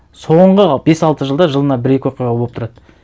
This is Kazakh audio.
соңғы бес алты жылда жылына бір екі оқиға болып тұрады